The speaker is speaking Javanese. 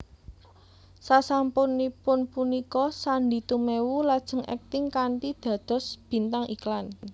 Sasampunipun punika Sandy Tumewu lajeng akting kanthi dados bintang iklan